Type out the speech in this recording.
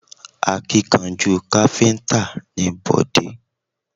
Akíkanjú káfíntà ni Bọ̀dé